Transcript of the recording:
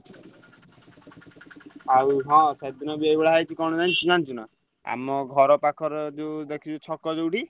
ଆଉ ହଁ ସେଇଦିନ ଏଇ ଭଳିଆ ହେଇଛି କଣ ହେଇଛି ଜାଣିଚୁ ନା ଆମ ଘର ପାଖରେ ଯୋଉ ଦେଖିଛୁ ଛକ ଯୋଉଠି?